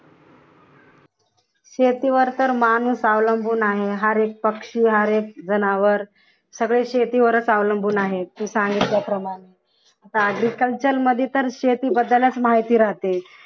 शेतीवर तर माणूस अवलंबून आहे हर एक पक्षी हर एक जनावर सगळे शेतीवरच अवलंबून आहे तू सांगितल्याप्रमाणे आता agriculture मध्ये तर शेती बद्दलच माहिती राहते.